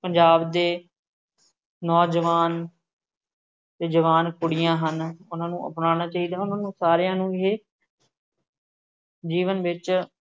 ਪੰਜਾਬ ਦੇ ਨੌਜਵਾਨ ਅਤੇ ਜਵਾਨ ਕੁੜੀਆਂ ਹਨ, ਉਹਨਾ ਨੂੰ ਅਪਣਾਉਣਾ ਚਾਹੀਦਾ ਹੈ, ਉਹਨਾ ਨੂੰ ਸਾਰਿਆਂ ਨੂੰ ਇਹ ਜੀਵਨ ਵਿੱਚ